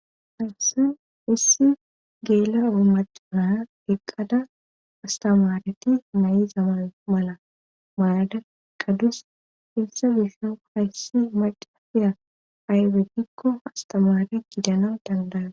hassin issi geela umacana eqqada astamareti nay7i zaman mala malada qadus issa gisho hayssi macafiya aywedikko astamare gidana dandara